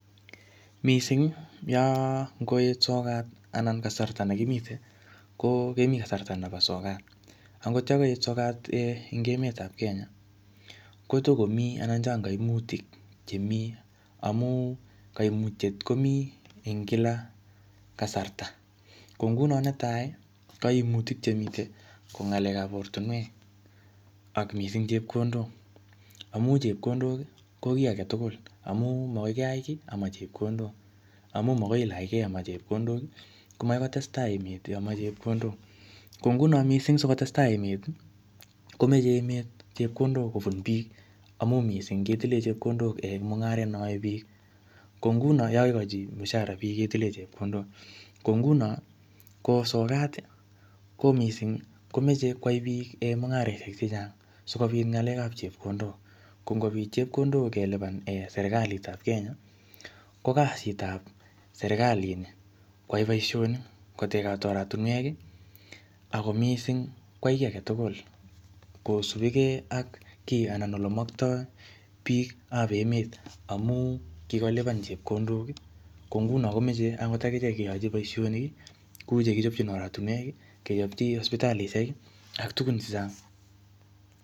Mising yo ngoet sokat anan kemi kasarta nebo sokat. Akot yo kait sokat eng emet ab kenya, ko takomi anan chang koimutik. chemi amun koimutiet komi eng kila kasarta. Ko nguno ne tai koimutiek chemitei ko n'galekab ab ortinwek ak mising chepkondok amu chepkondok ko kiy agetugul. Amu magoi kiai kiy ama chepkondok, amu magoi ilachkei ama chepkondok ko magoi testai emet ama chepkondok. Ko nguno mising si ko testai emet, komachei emet chepkondok kobun biik. Amun mising ketilei chepkondok eng mung'aret neaei biik Ko nguno ye kakikochi mushara biik, ketile chepkondok. Ko nguno sokat ko mising chechang sikobit ng'alekab chepkondok. Chepkondok ngelipan serkalitab kenya ko kasitab serkalini koyai boishoni, eng oratinwek ako mising ko kiy age tugul. Kosupigei ak kianai ole maktoi biik ab emet amun kikolipan chepkondok ko nguni komachei ak icheket keyachi boishonik kou chekichopchin oratinwek, kechopchi sipitalishek ak tukun che chang.